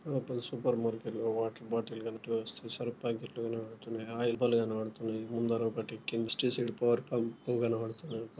ఆ పై సూపర్ మార్కెట్లో వాటర్ బాటిల్ కనుక క్లోజ్ చేసారా పైపులు ఏమైనా లీక్ అవుతున్నాయా ఆయిల్ క్యాన్ లు కారుతున్నాయి ముందర ఒకటి కెమిస్ట్రీ సైడ్ పవర్ పంప్ కనపడుతున్నది.